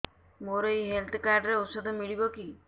ମୋର ଏଇ health card ରେ ଔଷଧ ମିଳିବ କି